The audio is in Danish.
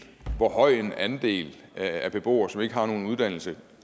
hvor høj en andel af beboere som ikke har nogen uddannelse